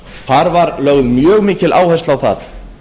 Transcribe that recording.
þar var lögð mjög mikil áhersla á það